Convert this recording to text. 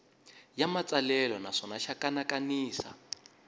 ya matsalelo naswona xa kanakanisa